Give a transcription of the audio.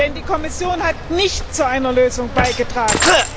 Denn die Kommission hat nicht zu einer Lösung beigetragen.